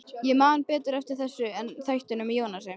Ég man betur eftir þessu en þættinum með Jónasi.